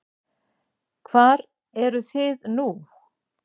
Hvar eru þið nú?